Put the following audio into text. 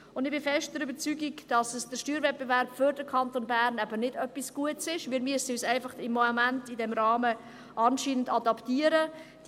Ich bin fest der Überzeugung, dass der Steuerwettbewerb für den Kanton Bern eben nicht etwas Gutes ist, weil wir uns im Moment in diesem Rahmen anscheinend adaptieren müssen.